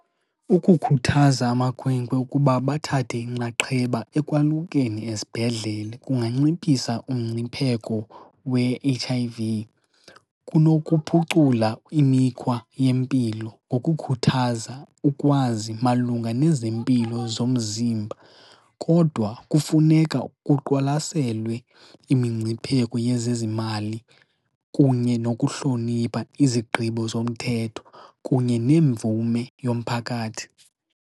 Ukukhuthaza amakhwenkwe ukuba bathathe inxaxheba ekwalukeni esibhedlele kunganciphisa umngcipheko we-H_I_V, kunokuphucula imikhwa yempilo ngokukhuthaza ukwazi malunga nezempilo zomzimba. Kodwa kufuneka kuqwalaselwe imingcipheko yezezimali kunye nokuhlonipha izigqibo zomthetho kunye nemvume yomphakathi.